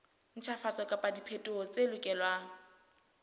ntjhafatso kapa diphetoho tse lokelwang